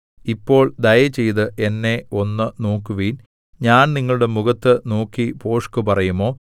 ഇപ്പോൾ ദയചെയ്ത് എന്നെ ഒന്ന് നോക്കുവിൻ ഞാൻ നിങ്ങളുടെ മുഖത്തു നോക്കി ഭോഷ്കുപറയുമോ